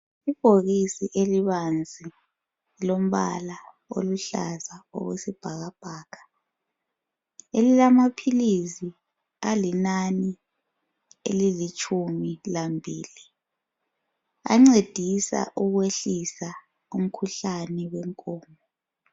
Ibhokisi elibanzi elilombala oluhlaza okwesibhakabhaka elilamaphilisi alinani elilitshumi lambili ancedisa ukwehlisa umkhuhlane wenkomo.